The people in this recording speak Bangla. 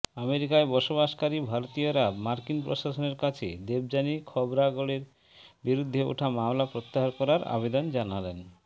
আমেরিকায় বসবাসকারী ভারতীয়রা মার্কিন প্রশাসনের কাছে দেবযানী খোবরাগাড়ের বিরুদ্ধে ওঠা মামলা প্রত্যাহার করার আবেদন জানালেন